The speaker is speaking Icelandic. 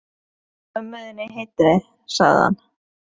Hún er lík mömmu þinni heitinni, sagði hann.